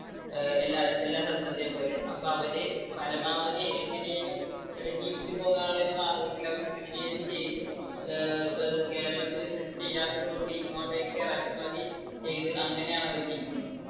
ഏർ എല്ലാ~ എല്ലാ സ്ഥലത്തത്തെയും പോലെ. അപ്പൊ അവര് പരമാവധി എങ്ങനെയെങ്കിലും ജീവിച്ചു പോകാനുള്ള ഒരു മാർഗത്തിൽ അവർ കൃഷിയെങ്കിലും ചെയ്ത് ഏർ ദാ ഇപ്പൊ കേരളത്തിൽ കൃഷി ചെയ്യാത്തതുകൊണ്ടു ഇങ്ങോട്ടേക്ക് ഇറക്കുമതി ചെയ്ത് അങ്ങനെയാണ് അവര് ജീവിക്കുന്നത്.